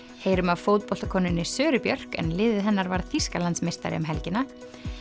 heyrum af Söru Björk en liðið hennar varð Þýskalandsmeistari um helgina